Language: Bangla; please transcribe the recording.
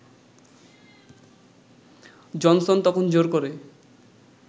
জনসন তখন জোর করে